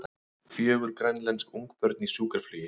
Fjögur grænlensk ungbörn í sjúkraflugi